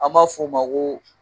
An ma f'o ma ko